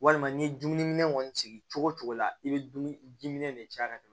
Walima n'i ye dumuni kɔni sigi cogo cogo la i bɛ dumuni diminɛ de caya ka tɛmɛ